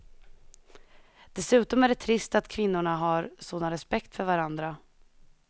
Dessutom är det trist att kvinnorna har sådan respekt för varandra.